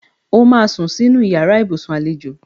O máa sún sínú yàrá ibùsùn àlejò